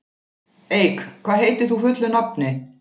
Eik, hvað heitir þú fullu nafni?